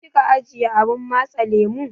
Ina kika ajiye abun matse lemu?